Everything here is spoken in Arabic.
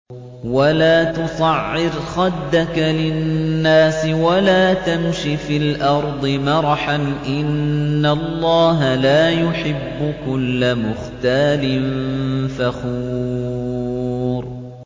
وَلَا تُصَعِّرْ خَدَّكَ لِلنَّاسِ وَلَا تَمْشِ فِي الْأَرْضِ مَرَحًا ۖ إِنَّ اللَّهَ لَا يُحِبُّ كُلَّ مُخْتَالٍ فَخُورٍ